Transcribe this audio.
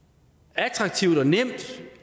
attraktivt og nemt